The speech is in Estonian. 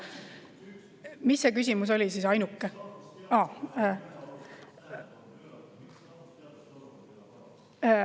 Mis see ainuke küsimus siis oli?